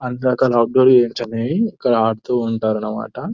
అందక lock door చేయొచ్చని ఇక్కడ ఆడుతూ ఉంటారు అన్నమాట --